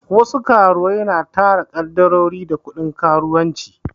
Wasu karuwai na tara kadarori da kuɗin karuwanci